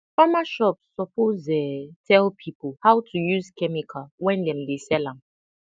farmer shop suppose um tell people how to use chemical when dem dey sell am